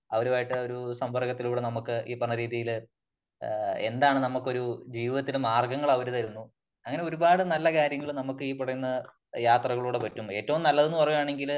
അവരുമായിട്ട് ഒരു സംമ്പർക്കത്തിലൂടെ നമുക്ക് ഈ പറഞ്ഞ രീതിയില് ആ എന്താണ് നമുക്ക് ഒരു ജീവിതത്തില് മാർഗങ്ങൾ അവര് തരുന്നു . അങ്ങനെ ഒരു പാട് നല്ല കാര്യങ്ങള് നമുക്ക് ഈ പറയുന്ന യാത്രകളിലൂടെ പറ്റും . ഏറ്റവും നല്ലതെന്ന് പറയുകയാണെങ്കില്